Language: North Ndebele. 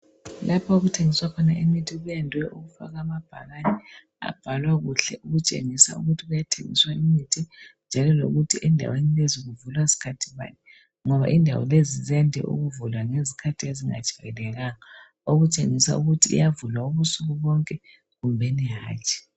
Lapha okuthengiswa khona imithi kuyandwe ukufakwa amabhakane abhalwakuhle okutshengisa ukuthi kuyathengiswa imithi njalo lokuthi endaweni lezi kuvulwa sikhathi bani, ngoba indawo lezi ziyande ukuvulwa izikhathi ezingajeayelekanga okutshengisa ukuthi iyavulwa ubusukubonke kumbeni hatshi.